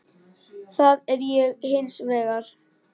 Það er ég hins vegar.